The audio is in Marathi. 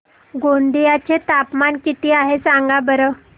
गोंदिया चे तापमान किती आहे सांगा बरं